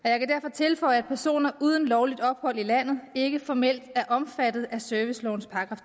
tilføje at personer uden lovligt ophold i landet ikke formelt er omfattet af servicelovens §